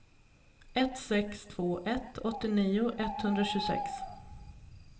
ett sex två ett åttionio etthundratjugosex